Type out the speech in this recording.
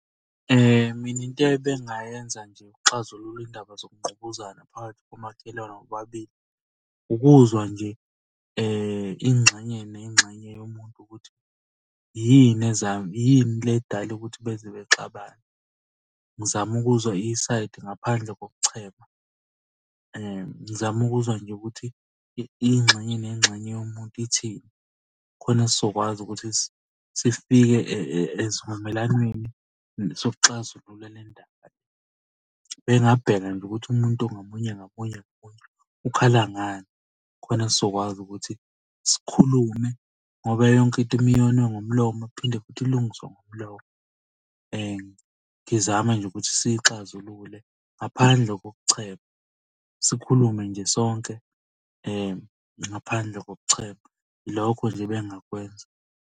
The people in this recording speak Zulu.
Mina into ebengingayenza nje ukuxazulula iy'ndaba zokungqubuzana phakathi komakhelwane bobabili. Ukuzwa nje ingxenye nengxenye yomuntu ukuthi yini ezayo, yini le edala ukuthi beze bexabane. Ngizame ukuzwa isayidi ngaphandle kokuchema. Ngizame ukuzwa nje ukuthi ingxenye nengxenye yomuntu ithini? Khona sizokwazi ukuthi sifike esivumelwaneni sokuxazulula le ndaba. Bengingabheka nje ukuthi umuntu ngamunye ngamunye ngamunye ukhala ngani. Khona sizokwazi ukuthi sikhulume ngoba yonke into uma yoniwe ngomlomo kuphinde futhi ilungiswe ngomlomo. Ngizama nje ukuthi siyixazulule ngaphandle kokuchema. Sikhulume nje sonke ngaphandle kokuchema. Ilokho nje ebengingakwenza.